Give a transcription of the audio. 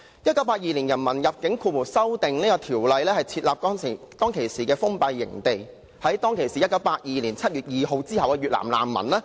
《1982年人民入境條例草案》旨在設立封閉營地，處理於1982年7月2日或之後抵港的越南難民。